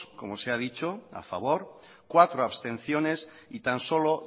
como se ha dicho a favor cuatro abstenciones y tan solo